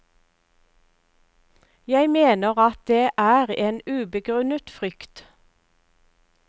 Jeg mener at det er en ubegrunnet frykt.